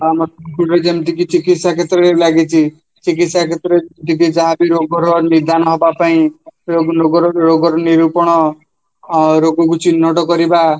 ଆମ ସୋନପୁରରେ ଯେମିତି ଚିକିସ୍ୟା କ୍ଷେତ୍ରରେ ଲାଗିଛି ଚିକିସ୍ୟା କ୍ଷେତ୍ରରେ ଟିକେ ଯାହାବି ରୋଜର ନିଧାନ ହବାପାଇଁ ସବୁ ରୋଗ ରୋଗର ନିରୂପଣ ଅଂ ରୋଗକୁ ଚିହ୍ନଟ କରିବା